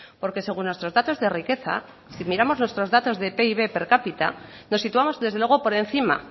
porque según nuestros datos de riqueza si miramos nuestros datos de pib per cápita nos situamos desde luego por encima